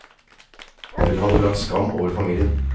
Hun hadde brakt skam over familien.